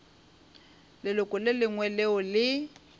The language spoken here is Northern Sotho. leloko le lengwe leo le